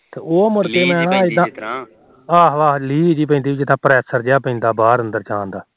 ਅਹ ਅਹ ਜਿਦਾ ਲੀਹ ਦੀ ਪੈਦੀ ਬਾਹਰ ਅੰਦਰ ਜਾਣ ਦਾ ਹਾ